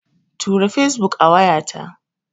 Tura Fesbuk a wayata.